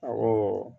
Awɔ